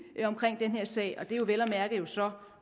her sag og det er jo vel at mærke så